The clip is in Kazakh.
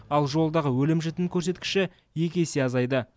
ал жолдағы өлім жітім көрсеткіші екі есе азайды